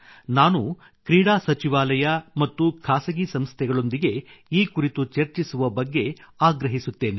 ನಾನು ಕ್ರೀಡಾ ಸಚಿವಾಲಯ ಮತ್ತು ಖಾಸಗಿ ಸಂಸ್ಥೆಗಳೊಂದಿಗೆ ಈ ಕುರಿತು ಚರ್ಚಿಸುವ ಬಗ್ಗೆ ಆಗ್ರಹಿಸುತ್ತೇನೆ